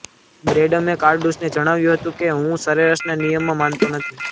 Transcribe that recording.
બ્રેડમને કાર્ડૂસને જણાવ્યું હતું કે હું સરેરાશના નિયમમાં માનતો નથી